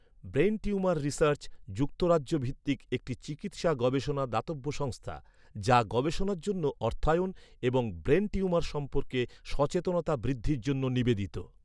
Brain tumour research যুক্তরাজ্য ভিত্তিক একটি চিকিৎসা গবেষণা দাতব্য সংস্থা যা গবেষণার জন্য অর্থায়ন, এবং ব্রেন টিউমার সম্পর্কে সচেতনতা বৃদ্ধির জন্য নিবেদিত।